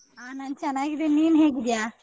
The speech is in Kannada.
ಹ ನಾನ್ ಚೆನ್ನಾಗಿದೀನ್ ನಿನ್ ಹೇಗಿದ್ಯ?